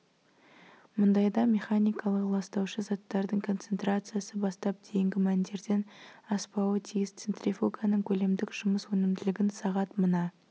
мұндайда механикалық ластаушы заттардың концентрациясы бастап дейінгі мәндерден аспауы тиіс центрифуганың көлемдік жұмыс өнімділігін сағат мына